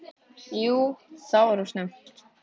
Jú það var of snemmt.